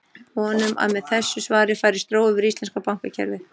Við vonum að með þessu svari færist ró yfir íslenska bankakerfið.